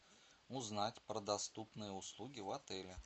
узнать про доступные услуги в отеле